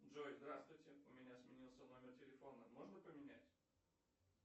джой здравствуйте у меня сменился номер телефона можно поменять